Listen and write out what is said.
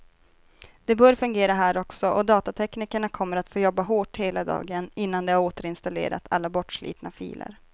Det bör fungera här också, och datateknikerna kommer att få jobba hårt hela dagen innan de har återinstallerat alla bortslitna filer.